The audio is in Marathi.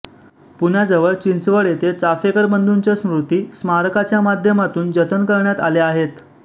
पुण्याजवळ चिंचवड येथे चापेकर बंधूंच्या स्मृती स्मारकाच्या माध्यमातून जतन करण्यात आल्या आहेत